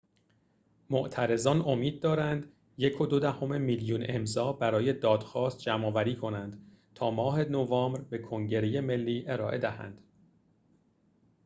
معترضان امید دارند ۱.۲ میلیون امضا برای دادخواست جمع‌آوری کنند تا ماه نوامبر به کنگره ملی ارائه دهند